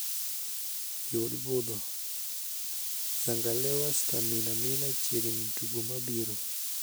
Yud budho, zangalewa staminamina chiegni tugo mabiro